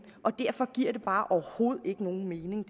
og derfor giver det her bare overhovedet ikke nogen mening